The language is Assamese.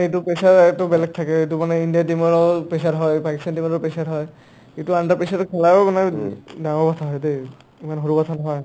এটো pressure বেলেগ থাকে এটো কাৰণে ইণ্ডিয়া team ৰৌ pressure হয় পাকিস্তান team ৰৌ pressure হয় এটো under pressure ৰৰ খেলাও না ডাঙৰ কথা দেই ইমান সৰু কথা নহয়